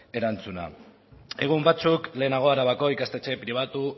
erantzuna egun batzuk lehenago arabako ikastetxe pribatu